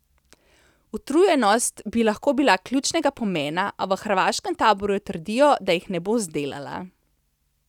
Utrujenost bi lahko bila ključnega pomena, a v hrvaškem taboru trdijo, da jih ne bo zdelala.